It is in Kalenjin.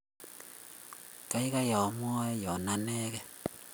kaaikaai komowe yun anegei